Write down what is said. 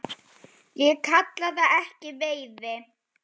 Ég kalla það ekki veiði.